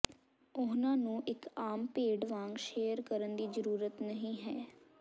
ਉਹਨਾਂ ਨੂੰ ਇੱਕ ਆਮ ਭੇਡ ਵਾਂਗ ਸ਼ੇਅਰ ਕਰਨ ਦੀ ਜ਼ਰੂਰਤ ਨਹੀਂ ਹੈ